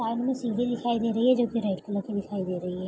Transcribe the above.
Park में सीढ़ी दिखाई दे रही है जो कि रेड कलर की दिखाई दे रही है।